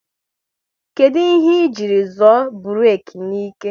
Kedụ ihe ị jiri zoọ burek n'ike?